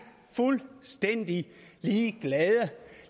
fuldstændig ligeglade